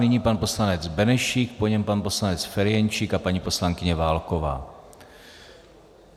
Nyní pan poslanec Benešík, po něm pan poslanec Ferjenčík a paní poslankyně Válková.